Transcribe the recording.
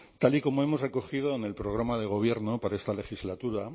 tal y como hemos recogido en el programa de gobierno para esta legislatura